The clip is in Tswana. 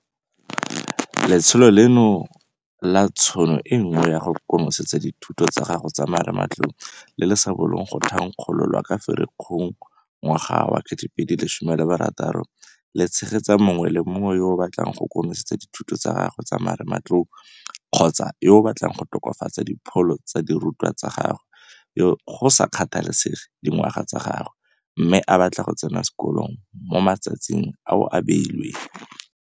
Letsholo leno la Tšhono e Nngwe ya go konosetsa dithuto tsa gago tsa marematlou, le le sa bolong go thankgololwa ka Ferikgong 2016 le tshegetsa mongwe le mongwe yo a batlang go konosetsa dithuto tsa gagwe tsa marematlou kgotsa yo a batlang go tokafatsa dipholo tsa dirutwa tsa gagwe, go sa kgathalesege dingwaga tsa gagwe, mme a batla go tsena sekolo mo matsatsing ao a beilweng.